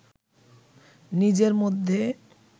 নিজের মধ্যে